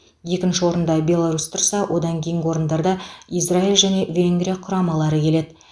екінші орында беларусь тұрса одан кейінгі орындарда израиль және венгрия құрамалары келеді